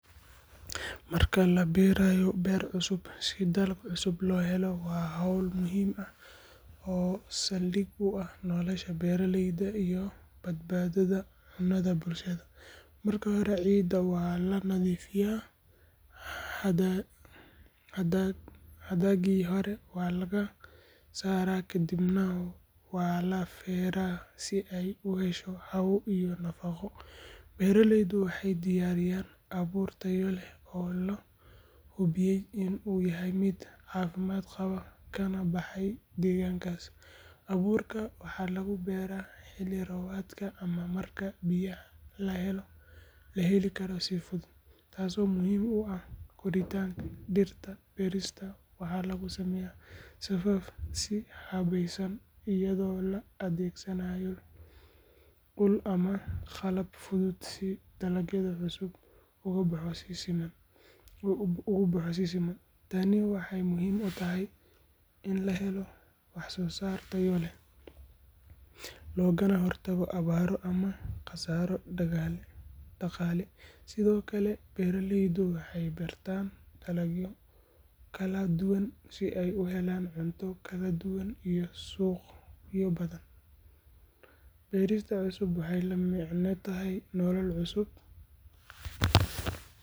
Marka la beeraayo beer cusub si dalag cusub loo helo waa hawl muhiim ah oo saldhig u ah nolosha beeraleyda iyo badbaadada cunnada bulshada. Marka hore ciidda waa la nadiifiyaa, hadhaagii hore waa laga saaraa kadibna waa la feeraa si ay u hesho hawo iyo nafaqo. Beeraleydu waxay diyaariyaan abuur tayo leh oo la hubiyey in uu yahay mid caafimaad qaba kana baxaya deegaankaas. Abuurka waxaa lagu beeraa xilli roobaadka ama marka biyaha la heli karo si fudud, taasoo muhiim u ah koritaanka dhirta. Beerista waxaa lagu sameeyaa safaf si habaysan iyadoo la adeegsanayo ul ama qalab fudud si dalagga cusub ugu baxo si siman. Tani waxay muhiim u tahay in la helo waxsoosaar tayo leh, loogana hortago abaaro ama khasaaro dhaqaale. Sidoo kale, beeraleydu waxay beertaan dalagyo kala duwan si ay u helaan cunto kala duwan iyo suuqyo badan. Beerista cusub waxay la macno tahay nolol cusub.